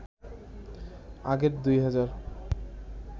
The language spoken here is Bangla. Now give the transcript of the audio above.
আগের ২ হাজার